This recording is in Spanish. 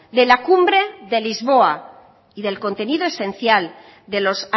de la cumbre de lisboa y del contenido esencial de los